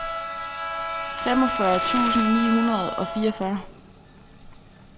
femogfyrre tusind ni hundrede og fireogfyrre